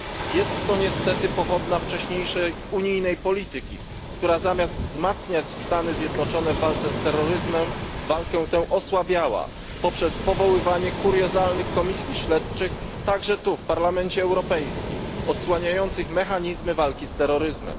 Jest to niestety skutek wcześniejszej unijnej polityki, która zamiast wspierać Stany Zjednoczone w walce z terroryzmem, walkę tę osłabiała poprzez powoływanie kuriozalnych komisji śledczych, także tu w Parlamencie Europejskim, odsłaniających mechanizmy walki z terroryzmem.